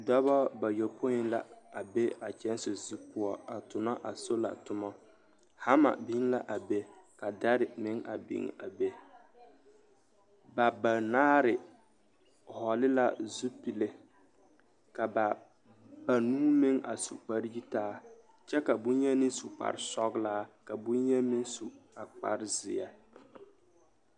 Dɔbɔ bayɔpoi la a be a kyɛnse zu poɔ a tonɔ a sola tomɔ, hama biŋ la a be ka dare meŋ a biŋ a be ba banaare hɔɔle la zupile ka ba banuu meŋ a su kpare yitaa kyɛ ka bonyeni su kpare sɔgelaa ka bonyeni meŋ su a kpare zeɛ.